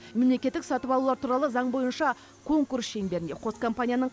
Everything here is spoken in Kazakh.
мемлекеттік сатып алулар туралы заң бойынша конкурс шеңберінде қос компанияның